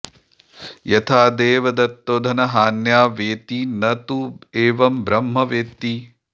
यथा देवदत्तो धनहान्या व्येति न तु एवं ब्रह्म व्येति